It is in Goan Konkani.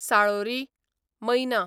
साळोरी, मैना